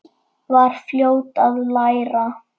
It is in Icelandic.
Var fljót að læra.